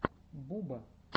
буба